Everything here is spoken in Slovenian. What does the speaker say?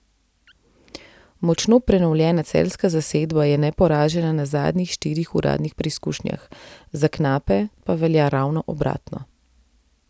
Močno prenovljena celjska zasedba je neporažena na zadnjih štirih uradnih preizkušnjah, za knape pa velja ravno obratno.